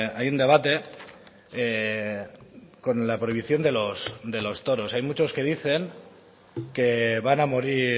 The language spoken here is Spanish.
hay un debate con la prohibición de los toros hay muchos que dicen que van a morir